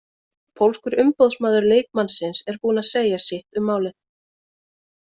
Pólskur umboðsmaður leikmannsins er búinn að segja sitt um málið.